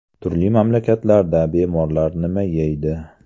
Turli mamlakatlarda bemorlar nima yeydi?.